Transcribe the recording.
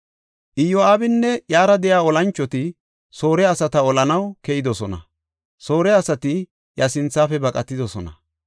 Iyo7aabinne iyara de7iya olanchoti Soore asata olanaw keyidosona; Soore asati iya sinthafe baqatidosona.